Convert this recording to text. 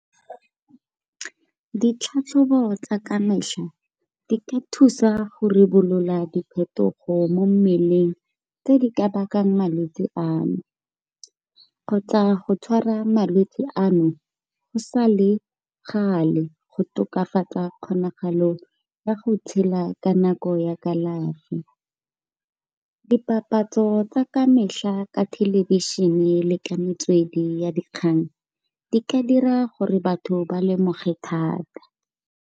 Ditlhatlhobo tsa ka metlha di ka thusa go rebolola diphetogo mo mmeleng tse di ka bakang malwetsi ano, kgotsa go tshwara malwetse ano go sa le gale go tokafatsa kgonagalo ya go tshela ka nako ya kalafi. Di papatso tsa ka metlha ka thelebišene le ka metswedi ya dikgang di ka dira gore batho ba lemoge thata.